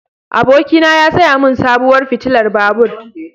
Abokina ya saya min sabuwar fitilar babur.